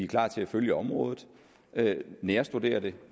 klar til at følge området nærstudere det